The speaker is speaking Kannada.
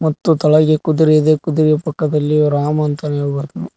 ಮತ್ತು ತೆಳಗೆ ಕುದುರೆ ಇದೆ ಕುದುರೆ ಪಕ್ಕದಲ್ಲಿ ಇವ ರಾಮ ಅಂತಾನೆ ಹೇಳಬ--